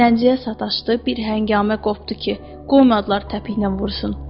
Zənciyə sataşdı, bir həngamə qopdu ki, qoymadılar təpiklə vursun.